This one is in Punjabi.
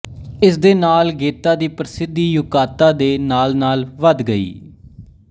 ਇਸ ਦੇ ਨਾਲ ਗੇਤਾ ਦੀ ਪ੍ਰਸਿੱਧੀ ਯੁਕਾਤਾ ਦੇ ਨਾਲਨਾਲ ਵੱਧ ਗਈ